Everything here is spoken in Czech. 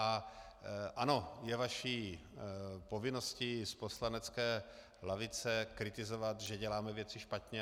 A ano, je vaší povinností z poslanecké lavice kritizovat, že děláme věci špatně.